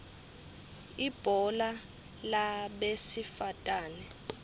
ibhola labesifatane